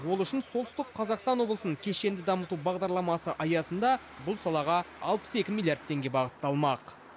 ол үшін солтүстік қазақстан облысын кешенді дамыту бағдарламасы аясында бұл салаға алпыс екі миллиард теңге бағытталмақ